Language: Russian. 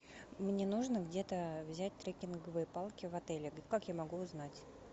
мне нужно где то взять треккинговые палки в отеле как я могу узнать